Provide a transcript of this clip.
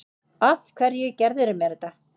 Af hverju gerðirðu mér þetta?